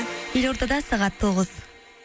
елордада сағат тоғыз